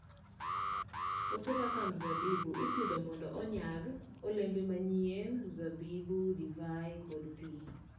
Puothe kaka mzabibu ipidho mondo onyag olembe manyien, mzabibu, divai, kod pi.